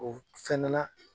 O fɛnɛ na